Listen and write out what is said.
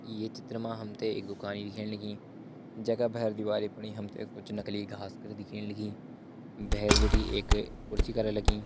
ये चित्र मा हमथे एक दुकानी दिखेण लगी जैका भैर दिवाली फणी हमथे कुछ नकली घास कर दिखेण लगीं भैर बटी एक कुर्सी करा लगी।